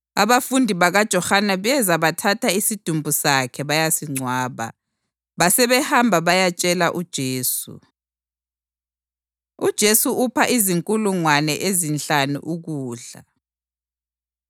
Abafundi bakaJohane beza bathatha isidumbu sakhe bayasingcwaba. Basebehamba bayatshela uJesu. UJesu Upha Izinkulungwane Ezinhlanu Ukudla